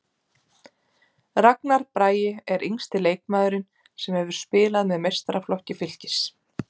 Ragnar Bragi er yngsti leikmaðurinn sem hefur spilað með meistaraflokki Fylkis.